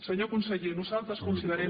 senyor conseller nosaltres considerem